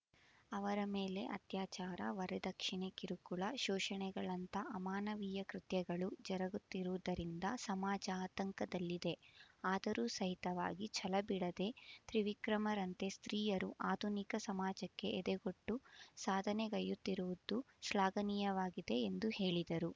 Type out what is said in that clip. ಅವರ ಮೇಲೆ ಅತ್ಯಾಚಾರ ವರದಕ್ಷಣೆ ಕಿರುಕುಳ ಶೋಷಣೆಗಳಂತ ಅಮಾನವೀಯ ಕೃತ್ಯಗಳು ಜರಗುತ್ತಿರುವುದರಿಂದ ಸಮಾಜ ಆತಂಕದಲ್ಲಿದೆ ಆದರೂ ಸಹಿತವಾಗಿ ಛಲ ಬಿಡದ ತ್ರಿವಿಕ್ರಮರಂತೆ ಸ್ತ್ರೀಯರು ಆಧುನಿಕ ಸಮಾಜಕ್ಕೆ ಎದೆಗೊಟ್ಟು ಸಾಧನೆ ಗೈಯುತ್ತಿರುವುದು ಶ್ಲಾಘನೀಯವಾಗಿದೆ ಎಂದು ಹೇಳಿದರು